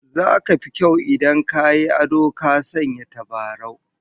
Zaka fi kyau idan ka yi ado ka sanya tabarau